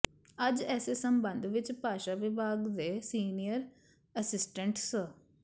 ਅੱਜ ਏਸੇ ਸਬੰਧ ਵਿੱਚ ਭਾਸ਼ਾ ਵਿਭਾਗ ਦੇ ਸੀਨੀਅਰ ਅਸਿਸਟੈਂਟ ਸ